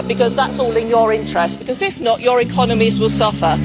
That is in your interests because, if not, your economies will suffer.